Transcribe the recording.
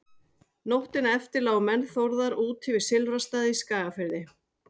Nóttina eftir lágu menn Þórðar úti við Silfrastaði í Skagafirði.